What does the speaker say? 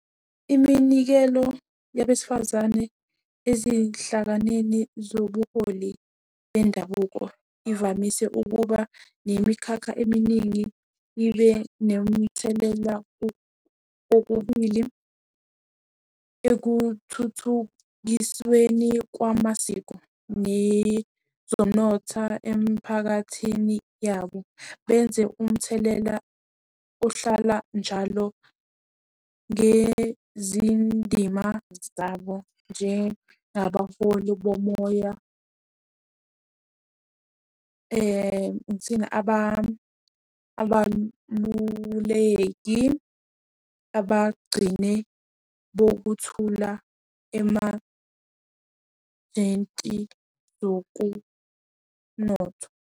Iminikelo yabesifazane ezinhlanganeni zobuholi bendabuko ivamise ukuba nemikhakha eminingi ibe nemithelela kokubili ekuthuthukisweni kwamasiko nezomnotha emphakathini yabo. Benze umthelela ohlala njalo ngezindima zabo njengabaholi bomoya. abaluleki abagcine bokuthula zokunotho.